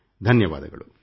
ಧನ್ಯವಾದಗಳು